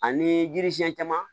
Ani yiri siɲɛ caman